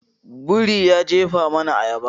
Biri ya jefa mana ayaba.